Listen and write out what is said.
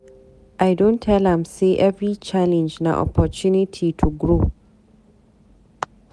I don tell am sey every challenge na opportunity to grow.